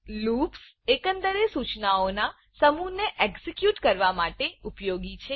loops એકંદરે સૂચનાઓના સમુહને એક્ઝેક્યુટ કરવા માટે ઉપયોગી છે